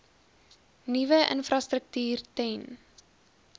nuwe infrastruktuur ten